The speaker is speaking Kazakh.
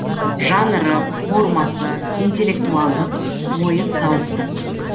жанры формасы интелектуалдық ойын сауықтық